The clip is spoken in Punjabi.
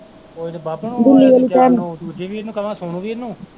ਓਹ ਜਿਹੜੇ ਦੂਜੀ ਵੀਰ ਨੂੰ ਕਹਵਾਂ ਸੋਨੂੰ ਵੀਰ ਨੂੰ